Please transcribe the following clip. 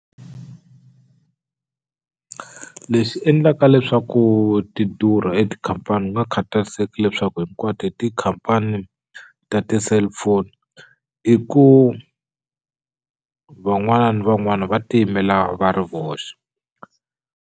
Leswi endlaka leswaku ti durha etikhampani ku nga khatariseki leswaku hinkwato i tikhampani ta ti-cellphone i ku van'wana ni van'wana va tiyimela va ri voxe.